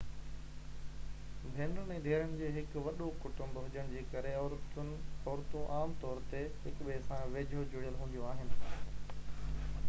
ڀينرن ۽ ڌيئرن جو هڪ وڏو ڪٽنب هجڻ جي ڪري عورتون عام طور تي هڪٻئي سان ويجهو جڙيل هونديون آهن